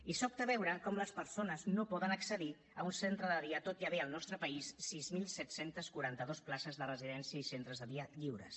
i sobta veure com les persones no poden accedir a un centre de dia tot i haver hi al nostre país sis mil set cents i quaranta dos places de residència i centres de dia lliures